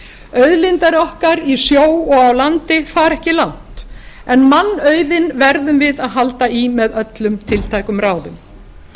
auðlindir okkar í sjó og á landi fara ekki langt en mannauðinn verðum við að halda í með öllum tiltækum ráðum